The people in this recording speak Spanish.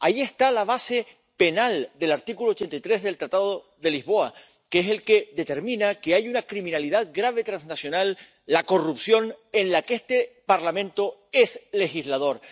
Ahí está la base penal del artículo 83 del Tratado de Lisboa, que es el que determina que hay una criminalidad transnacional grave, la corrupción, en la que este Parlamento es legislador.